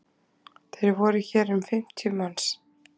Það voru hér um fimmtíu manns